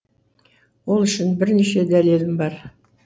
ол үшін бірнеше дәлелім бар